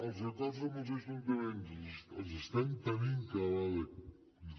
els acords amb els ajuntaments els estem tenint cada vegada